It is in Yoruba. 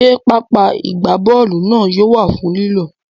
Ṣé pápá ìgbábọ́ọ̀lù náà yóò wà fún lílò?